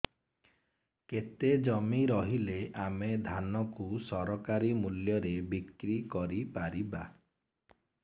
କେତେ ଜମି ରହିଲେ ଆମେ ଧାନ କୁ ସରକାରୀ ମୂଲ୍ଯରେ ବିକ୍ରି କରିପାରିବା